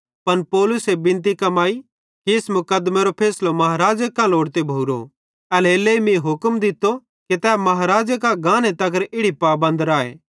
पन पौलुसे बिनती कमाई कि इस मुकदमेरो फैसलो महाराज़े कां लोड़ते भोरो एल्हेरेलेइ मीं हुक्म दित्तो कि तै महाराज़े कां गाने तगर इड़ी पाबंद राए